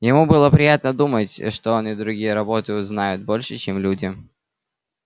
ему было приятно думать что он и другие роботы знают больше чем люди